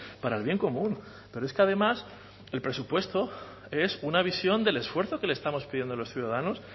para el bien común pero es que además el presupuesto es una visión del esfuerzo que le estamos pidiendo a los ciudadanos